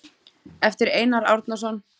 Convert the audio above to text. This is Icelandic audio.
eftir Einar Árnason